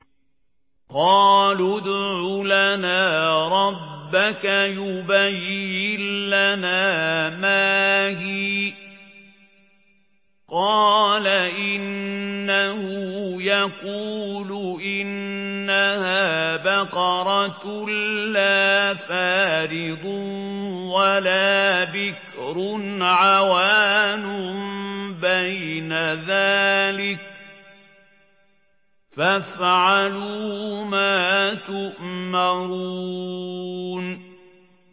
قَالُوا ادْعُ لَنَا رَبَّكَ يُبَيِّن لَّنَا مَا هِيَ ۚ قَالَ إِنَّهُ يَقُولُ إِنَّهَا بَقَرَةٌ لَّا فَارِضٌ وَلَا بِكْرٌ عَوَانٌ بَيْنَ ذَٰلِكَ ۖ فَافْعَلُوا مَا تُؤْمَرُونَ